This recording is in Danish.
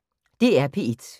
DR P1